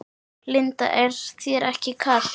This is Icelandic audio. Linda: Er þér ekki kalt?